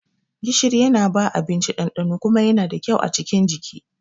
Gishiri Yana bawa abinci ɗanɗano kuma Yana da kyau a cikin jiki.